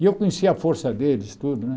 E eu conhecia a força deles, tudo, né?